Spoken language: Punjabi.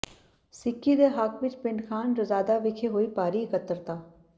ਸਿੱਕੀ ਦੇ ਹੱਕ ਵਿਚ ਪਿੰਡ ਖ਼ਾਨ ਰਜ਼ਾਦਾ ਵਿਖੇ ਹੋਈ ਭਾਰੀ ਇਕੱਤਰਤਾ